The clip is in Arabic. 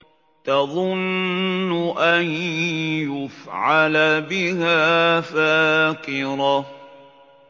تَظُنُّ أَن يُفْعَلَ بِهَا فَاقِرَةٌ